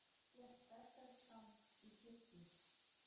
Gekk berserksgang í kirkju